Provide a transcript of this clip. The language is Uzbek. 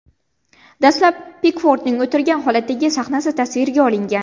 Dastlab Pikfordning o‘tirgan holatdagi sahnasi tasvirga olingan.